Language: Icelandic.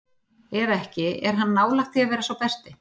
Ef ekki, er hann nálægt því að vera sá besti?